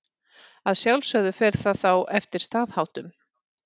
Að sjálfsögðu fer það þá eftir staðháttum.